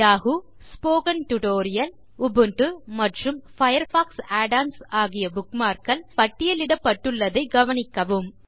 Yahoo spoken tutorial Ubuntu மற்றும் Firefox add ons ஆகிய bookmark கள் இங்கே பட்டியலிடப்பட்டுள்ளதைக் கவனிக்கவும்